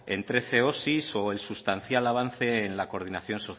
en trece osi o el sustancial avance en la coordinación